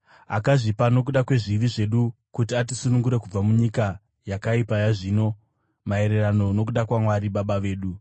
akazvipa nokuda kwezvivi zvedu kuti atisunungure kubva munyika yakaipa yazvino, maererano nokuda kwaMwari Baba vedu,